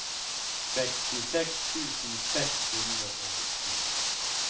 sekstiseks tusen seks hundre og sju